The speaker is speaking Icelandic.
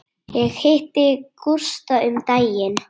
Ég hitti Gústa um daginn.